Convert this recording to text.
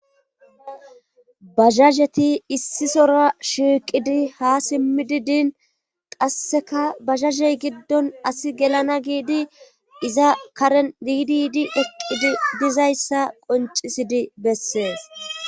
bazhazheti issisora shiiqidi ha simmidi diin qasseka bazhazey giddon asi gelana giidi iza karen diidiidi eqqidi dizayssa qoncisidi bessees